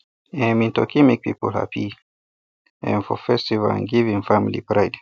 um e turkey make people happy um for festival and give him family pride